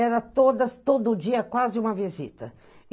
Era todas, todo dia, quase uma visita.